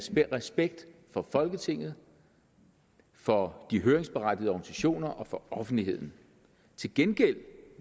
respekt for folketinget for de høringsberettigede organisationer og for offentligheden til gengæld